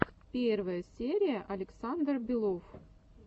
первая серия александр белов